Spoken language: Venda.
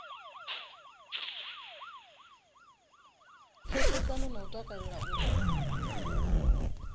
pfesesana na u takalela uri